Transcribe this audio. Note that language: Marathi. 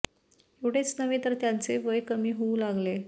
एवढेच नव्हे तर त्यांचे वय कमी होऊ लागले